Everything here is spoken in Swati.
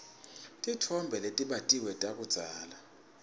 titfombe letibatiwe takudzala